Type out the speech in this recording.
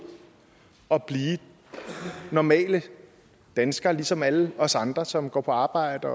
og blive normale danskere ligesom alle os andre som går på arbejde